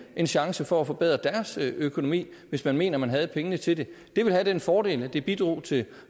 en chance for at forbedre deres økonomi hvis man mener at man har pengene til det det vil have den fordel at det bidrager til